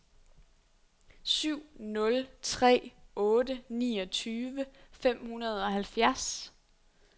syv nul tre otte niogtyve fem hundrede og halvfjerds